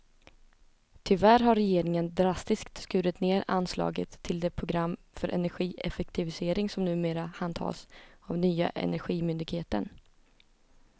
Tyvärr har regeringen drastiskt skurit ned anslaget till det program för energieffektivisering som numera handhas av nya energimyndigheten.